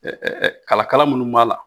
Ɛ ɛ ɛ Kalakala munnu b'a la.